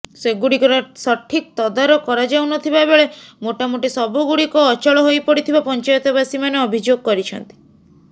ସେଗୁଡିକର ସଠିକ୍ ତଦାରଖ କରାଯାଉନଥିବା ବେଳେ ମୋଟାମୋଟି ସବୁ ଗୁଡିକ ଅଚଳ ହୋଇପଡିଥିବା ପଞ୍ଚାୟତବାସୀମାନେ ଅଭିଯୋଗ କରିଛନ୍ତି